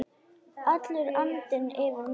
Allur andinn yfir manni.